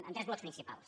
en tres blocs principals